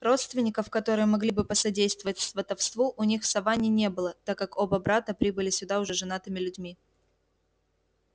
родственников которые могли бы посодействовать сватовству у них в саванне не было так как оба брата прибыли сюда уже женатыми людьми